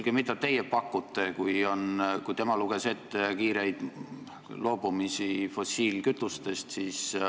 Tema luges ette, et tuleb kiirelt loobuda fossiilkütustest.